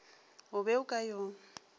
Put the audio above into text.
o be o ka yo